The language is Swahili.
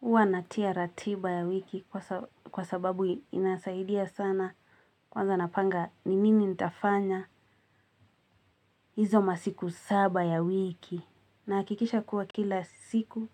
HUwa natia ratiba ya wiki kwasababu inasaidia sana. Kwanza napanga ni nini nitafanya. Hizo masiku saba ya wiki. Nahakikisha kuwa kila siku.